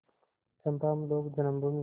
चंपा हम लोग जन्मभूमि